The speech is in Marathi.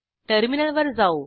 टर्मिनलवर जाऊ